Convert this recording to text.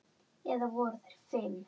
Eða voru þeir fimm?